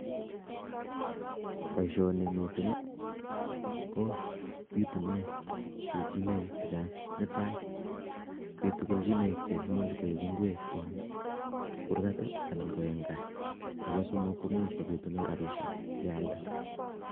Boishoni en missing I,,ko bitunen kelchinoik chechang, netai kobiitu kelchinoik cheimuch koik ingwek en kurgat anan KO en gaa, nebo oeng komuch kobiitinen rabishek yealdee